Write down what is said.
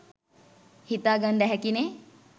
හිතාගන්ඩ ඇහැකි නේ